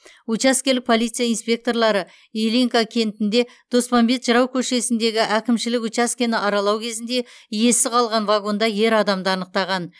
учаскелік полиция инспекторлары ильинка кентінде доспамбет жырау көшесіндегі әкімшілік учаскені аралау кезінде иесіз қалған вагонда ер адамды анықтаған